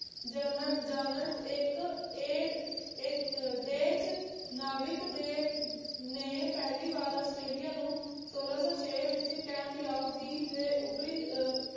ਜਨ ਜਾਨਣ ਇੱਕ ਏਡ ਇੱਕ ਦੇਸ਼ ਨਾਵਿਕ ਦੇ ਨੇ ਪਹਿਲੀ ਵਾਰ ਆਸਟ੍ਰੇਲੀਆ ਨੂੰ ਸੋਲਾਂ ਸੌ ਛੇ ਵਿੱਚ ਕੈਂਪੇਓਗ ਦੀ ਏ ਉੱਪਰੀ ਅਹ